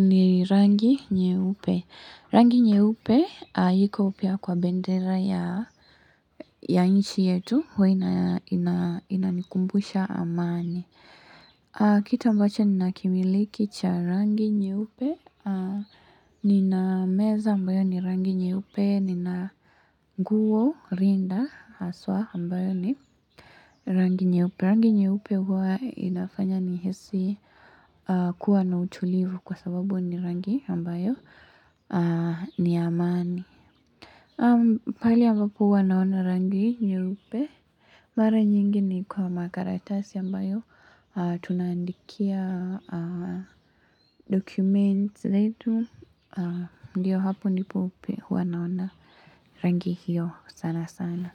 ni rangi nyeupe. Rangi nyeupe iko pia kwa bendera ya nchi yetu. Huwa inanikumbusha amani. Kitu ambacho ninakimiliki cha rangi nyeupe. Nina meza ambayo ni rangi nyeupe. Nina nguo rinda haswa ambayo ni rangi nyeupe. Kuwa inafanya nihisi kuwa na utulivu kwa sababu ni rangi ambayo ni amani. Pale ambapo huwa naona rangi nyeupe. Mara nyingi ni kwa makaratasi ambayo tunaandikia dokumenti zetu. Ndiyo hapo nipeupe huwa naona rangi hiyo sana sana.